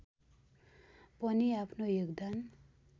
पनि आफ्नो योगदान